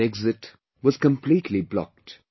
Their exit was completely blocked